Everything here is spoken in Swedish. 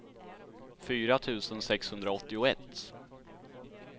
fyra tusen sexhundraåttioett